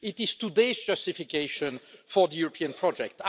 It is today's justification for the European project.